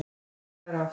Við hvað er átt?